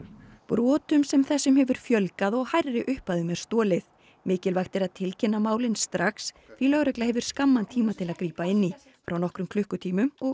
brotum sem þessum hefur fjölgað og hærri upphæðum er stolið mikilvægt er að tilkynna málin strax því lögregla hefur skamman tíma til að grípa inn í frá nokkrum klukkutímum og